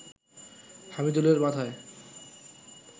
হামিদুলের মাথায়